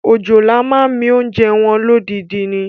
Òjòlá máa ń mi oúnjẹ wọn lódindi ni.